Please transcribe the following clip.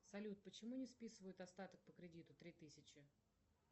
салют почему не списывают остаток по кредиту три тысячи